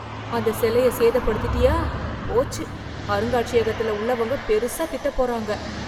அந்த சிலைய சேதப்படுத்திட்டயா, போச்சு அருங்காட்சியகத்துல உள்ளவங்க பெரிசா திட்டப் போறாங்க.